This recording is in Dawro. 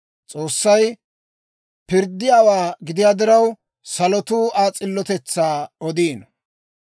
S'oossay pirddiyaawaa gidiyaa diraw, salotuu Aa s'illotetsaa odiino.